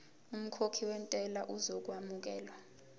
umkhokhi wentela uzokwamukelwa